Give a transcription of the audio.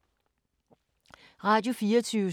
Radio24syv